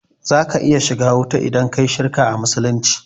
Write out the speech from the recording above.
Za ka iya shiga wuta in kayi shirka a musulunci